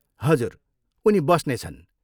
हजुर, उनी बस्नेछन्।